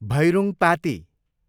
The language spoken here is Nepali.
भैरूङपाती